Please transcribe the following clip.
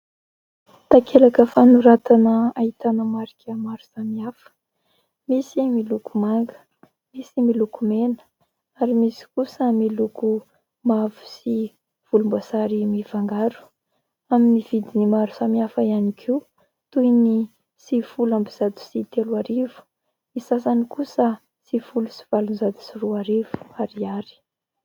Takelaka fanoratana ahitana marika maro samihafa: misy miloko maga, misy miloko mena ary misy kosa miloko mavo sy volomboasary mifangaro; amin'ny vidiny maro samy hafa ihany koa toy ny sivifolo amby zato sy telo arivo, ny sasany kosa sivifolo sy valonjato sy roa arivo ariary.